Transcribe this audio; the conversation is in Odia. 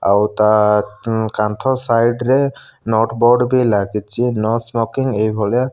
ଆଉ ତା ଥୁଁ କାନ୍ଥ ସାଇଡ ରେ ନୋଟ ବୋର୍ଡ ଭି ଲାଗିଚି ନୋ ସ୍ମୋକିଙ୍ଗ୍ ଏଇ ଭଳିଆ।